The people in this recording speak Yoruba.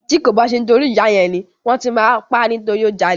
Ti ko ba ṣe ti ìyá yẹn ni, wọn ti ma pa nitori o jalè.